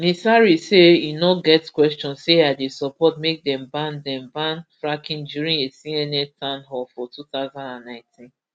ms harris say e no get question say i dey support make dem ban dem ban fracking during a cnn town hall for two thousand and nineteen